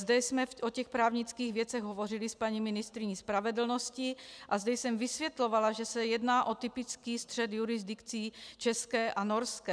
Zde jsme o těch právnických věcech hovořili s paní ministryní spravedlnosti a zde jsem vysvětlovala, že se jedná o typický střet jurisdikcí české a norské.